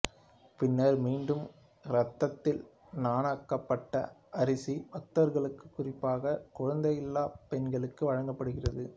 பின்னர் மீண்டும் இரத்தத்தில் நனைக்கப்பட்ட அரிசி பக்தர்களுக்கு குறிப்பாக குழந்தையில்லாப் பெண்களுக்கு வழங்கப்படுகிறது